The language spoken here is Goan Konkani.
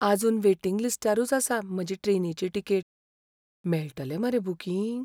आजून वेटिंग लिस्टारूच आसा म्हाजी ट्रेनीची तिकेट. मेळटलें मरे बुकिंग?